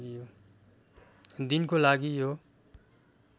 दिनको लागि यो